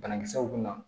Banakisɛw bina